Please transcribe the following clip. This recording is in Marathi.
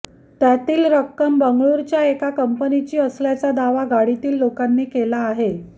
त्यातील रक्कम बंगळूरच्या एका कंपनीची असल्याचा दावा गाडीतील लोकांनी केला आहे